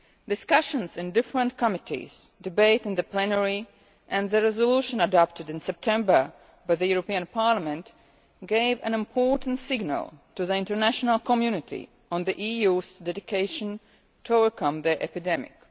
Discussions in different committees, debate in the plenary and the resolution adopted in September by the European Parliament gave an important signal to the international community on the EU's dedication to overcome the epidemic.